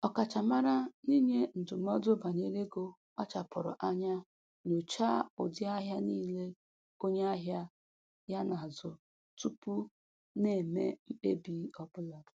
Ọkachamara n'inye ndụmọdụ banyere ego kpachapụrụ anya nyochaa ụdị ahịa niile onye ahịa ya na-azụ tupu na-eme mkpebi ọbụla